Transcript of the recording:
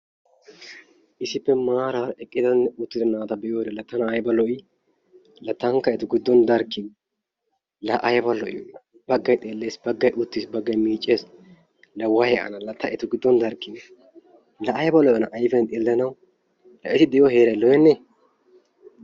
issippe maaran eqqidanne uttidda naata be'iyoode la tana ayba lo"ii? la tankka etu giddon darkiniyaa. la ayba lo"iyoona. baggay xeelles baggay uuttiis baggay miicces. la way ana! ta etu giddon darkiniyaasha. la ayba lo"iyoonaa ayfiyaan xeelanaw la eti diyoo heeray lo"enee?